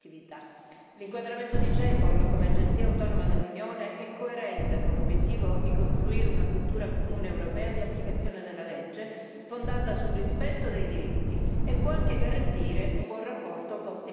L'inquadramento di CEPOL come agenzia autonoma dell'Unione è coerente con l'obiettivo di costruire una cultura comune europea di applicazione della legge, fondata sul rispetto dei diritti, e può anche garantire un buon rapporto costi benefici.